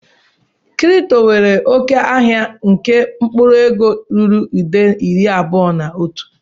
Kripto nwere oke ahịa nke mkpụrụ ego ruru nde iri abụọ na otu.